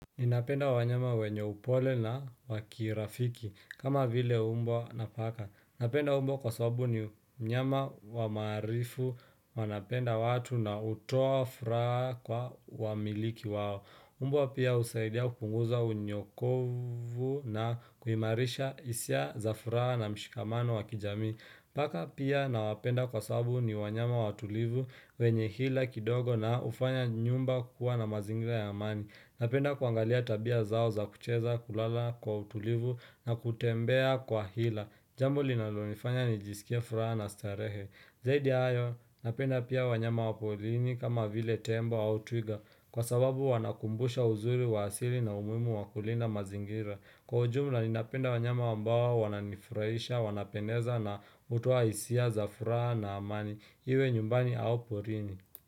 Ninapenda wanyama wenye upole na wakirafiki kama vile mbwa na paka. Napenda mbwa kwa sababu ni nyama wamaarifu wanapenda watu na hutoa furaha kwa wamiliki wao. Mbwa pia husaidia kupunguza unyokovu na kuhimarishahisia za furaha na mshikamano wa kijamii. Paka pia nawapenda kwa sabu ni wanyama watulivu wenye hila kidogo na ufanya nyumba kuwa na mazingira ya amani. Napenda kuangalia tabia zao za kucheza kulala kwa utulivu na kutembea kwa hila Jambo linalonifanya nijisikie furaha na starehe Zaidi ya hayo napenda pia wanyama waporini kama vile tembo au twiga Kwa sababu wanakumbusha uzuri wa asili na umuhimu wakulinda mazingira Kwa ujumla ni napenda wanyama ambao wananifurahisha wanapendeza na hutoa hisia za furaha na amani Iwe nyumbani au porini.